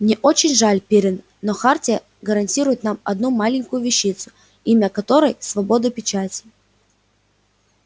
мне очень жаль пиренн но хартия гарантирует нам одну маленькую вещицу имя которой свобода печати